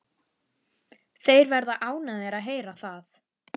Þeir verða ánægðir að heyra það.